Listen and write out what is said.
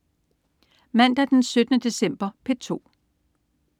Mandag den 17. december - P2: